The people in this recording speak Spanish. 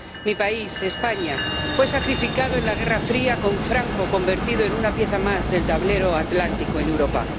Mi país, España, fue sacrificado en la Guerra Fría, con Franco convertido en una pieza más del tablero atlántico en Europa.